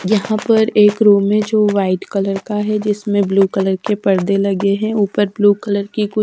यहां पर एक रूम है जो व्हाइट कलर का है जिसमें ब्लू कलर के पर्दे लगे हैं ऊपर ब्लू कलर की कु--